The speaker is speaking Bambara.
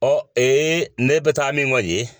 Ɔ ee ne bɛ taa min koyi ye